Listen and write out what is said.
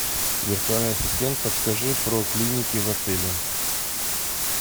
виртуальный ассистент подскажи про клиники в отеле